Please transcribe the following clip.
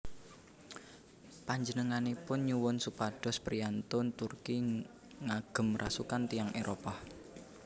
Panjenenganipun nyuwun supados priyantun Turki ngagem rasukan tiyang Éropah